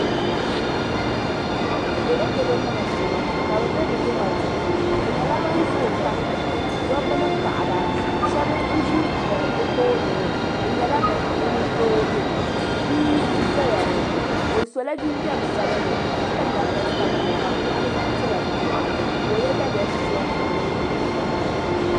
Dolodolo nima m-bɔŋɔ ka bɛ be bɛ jɛma duu ni bɛ nyɛla ban zooi pam yaɣi dabba ni paɣaba shɛba n-ʒi bɛ tooni ŋɔ bɛ nyɛla ban zoogi bia n-zaya ŋɔ o sɔla jinjam sabinli ka piri namda sabinli ka di kuɣili zaɣ' piɛla di luɣu ni ka o ye daliya piɛlli.